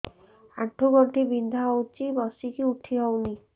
ଆଣ୍ଠୁ ଗଣ୍ଠି ବିନ୍ଧା ହଉଚି ବସିକି ଉଠି ହଉନି